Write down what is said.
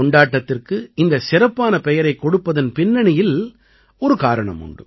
கொண்டாட்டத்திற்கு இந்த சிறப்பான பெயரைக் கொடுப்பதன் பின்னணியில் ஒரு காரணம் உண்டு